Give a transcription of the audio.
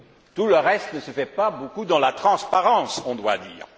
Tout le reste ne se fait pas vraiment dans la transparence, on doit le dire!